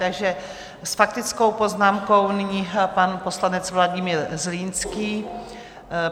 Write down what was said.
Takže s faktickou poznámkou nyní pan poslanec Vladimír Zlínský.